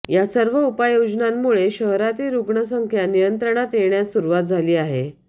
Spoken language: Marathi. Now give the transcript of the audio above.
या सर्व उपाययोजनांमुळे शहरातील रुग्णसंख्या नियंत्रणात येण्यास सुरुवात झाली आहे